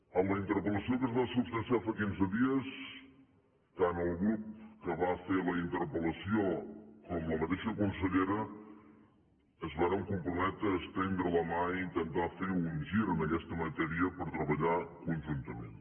a la interpel·lació que es va substanciar fa quinze dies tant el grup que va fer la interpel·lació com la mateixa consellera es varen comprometre a estendre la mà i intentar fer un gir en aquesta matèria per treballar conjuntament